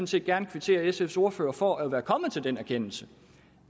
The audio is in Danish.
set gerne kvittere sfs ordfører for at være kommet til den erkendelse